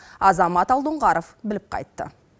азамат алдоңғаров біліп қайтты